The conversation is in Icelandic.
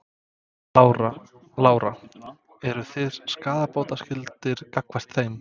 Lára: Eru þið skaðabótaskyldir gagnvart þeim?